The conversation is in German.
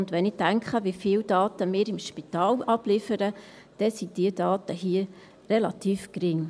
Und wenn ich daran denke, wie viele Daten wir im Spital abliefern, dann sind diese Daten hier relativ gering.